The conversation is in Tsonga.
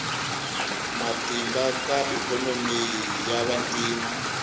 matimba ka ikhonomi ya vantima